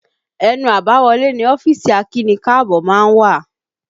Ẹnu àbáwọlé ni ọ́fíìsì akíni-káàbọ́ má ń wà